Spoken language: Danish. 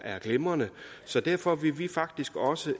glimrende så derfor vil vi faktisk også